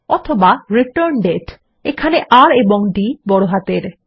অথবা রিটার্ন্ডেট এখানে R ও D বড় হাতের